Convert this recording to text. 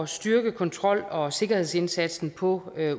styrke kontrol og sikkerhedsindsatsen på